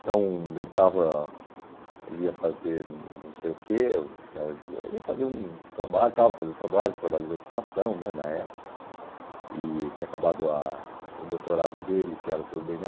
Então, ele estava, ele ia fazer não sei o que, ele ia fazer um trabalho, estava fazendo trabalho, trabalho de habitação, né, na época, e tinha acabado a o doutorado dele, que era sobre o bê ene